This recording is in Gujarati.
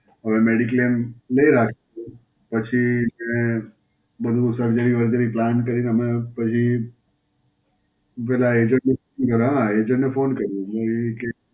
હવ Mediclaim લઈ રાખ્યું છે. પછી મેં બધું Surgery વર્જરી plan કરીને હમણાં પછી પહેલા agent નું હાં, agent ને phone કર્યો. તો એ કહે,